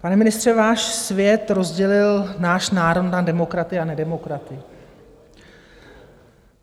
Pane ministře, váš svět rozdělil náš národ na demokraty a nedemokraty.